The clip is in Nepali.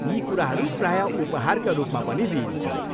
यी कुराहरू प्रायः उपहारका रूपमा पनि दिइन्छ।